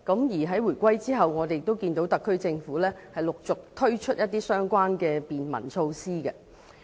而在回歸後，我們也看到特區政府陸續推出相關的便民措施。